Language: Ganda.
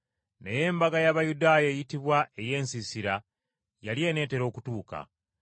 Naye embaga y’Abayudaaya eyitibwa ey’Ensiisira yali eneetera okutuuka.